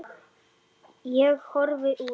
Ég horfi út.